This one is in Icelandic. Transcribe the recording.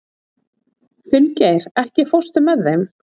Finngeir, ekki fórstu með þeim?